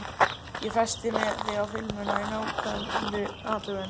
Ég festi þig á filmuna í nákvæmri athugun.